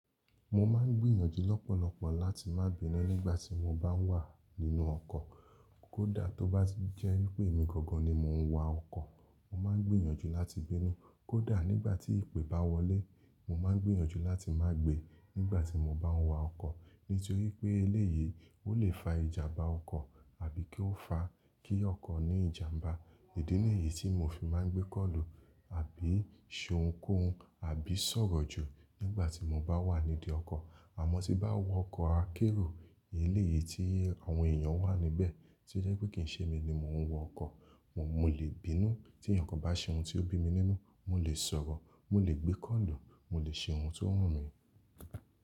Mo máa ń gbìyànjú lọ́pọ̀lọ́pọ̀ láti má bínú nígbà tí mobá wà nínú ọkọ̀. Kó dá tó bá ti jẹ́ wipé mi gangan ni mò ń wa ọkọ̀, mo máa ń gbìyànjú láti bínú. Kó dá nígbà tí ìpé bá wọlẹ́, mo máa ń gbìyànjú láti má gbè nígbà tí moba ń wa ọkọ̀. Nítorí pé eléyìí ó le fa ìjàm̀bá ọkọ̀, àbí kí ó fa kí ọkọ̀ ní ìjàm̀bá. Idi nìyí tí mo fi máa ń gbé kọ̀lù, àbí ṣòǹkòun, àbí ṣọ̀rọ̀ jù nígbà tí moba wà nídí ọkọ̀. Àmọ́ tí bá wọ ọkọ̀ akérò, Eleyìí tí àwọn èèyàn wà níbẹ̀, tí í o jẹ́ pé kì í ṣe mi ni mò ń wọ ọkọ̀, mo lè bínú. Tí ẹ̀ẹ̀yan kan bá ṣe ohun tí ó bí mi nínú, mo lè ṣọ̀rọ̀, mo lè gbé kọ̀lù, mo lè ṣe ohun tí ó wù mí.